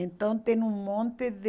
Então tem um monte de...